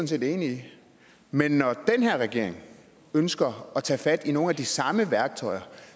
set enig i men når den her regering ønsker at tage fat i nogle af de samme værktøjer